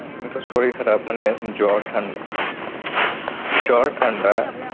এই তো শরীর খারাপ মানে জ্বর ঠান~ জ্বর ঠান্ডা